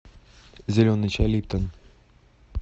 зеленый чай липтон